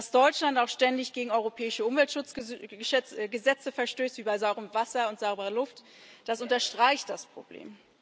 Dass Deutschland auch ständig gegen europäische Umweltschutzgesetze verstößt, wie bei sauberem Wasser und sauberer Luft, das unterstreicht das Problem.